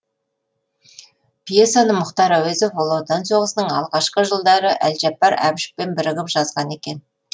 пьесаны мұхтар әуезов ұлы отан соғысының алғашқы жылдары әлжаппар әбішевпен бірігіп жазған екен